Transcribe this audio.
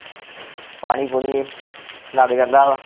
ਪਾਣੀ ਪੂਣੀ ਲੱਗ ਜਾਂਦਾ ਵਾ